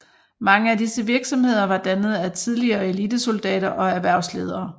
Mange af disse virksomheder var dannet af tidligere elitesoldater og erhvervsledere